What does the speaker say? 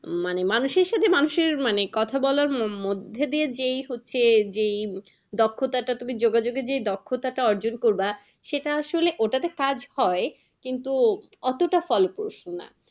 মানে মানুষের সাথে মানুষের মানে কথা বলার মধ্যে দিয়ে যেই হচ্ছে এই যে দক্ষতা টা তুমি যোগাযোগের যে দক্ষতা অর্জন করবা সেটা আসলে ওটা তো কাজ হয় কিন্তু অতটা ফলপ্রসূ না।